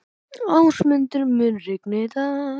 Ásmundur, mun rigna í dag?